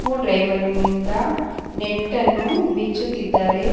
ಕೂ ಡ್ರೈವರ್ ನಿಂದ ನೆಟ್ ಅನ್ನು ಬಿಚ್ಚುತ್ತಿದ್ದಾರೆ.